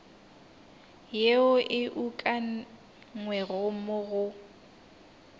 yeo e ukangwego mo go